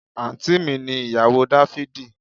Àǹtí mi ni ìyàwó dáfídì